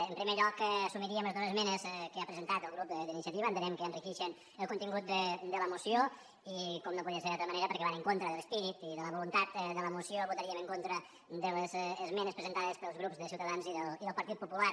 en primer lloc assumiríem les dos esmenes que ha presentat el grup d’iniciativa entenem que enriqueixen el contingut de la moció i com no podia ser d’altra manera perquè van en contra de l’esperit i de la voluntat de la moció votaríem en contra de les esmenes presentades pels grups de ciutadans i del partit popular